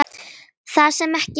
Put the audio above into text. Það sem ekki virkar